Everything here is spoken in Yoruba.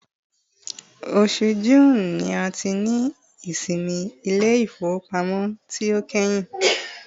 osù June ni a ti ni ìsinmi ilé ifowópamọ́ ti o kehin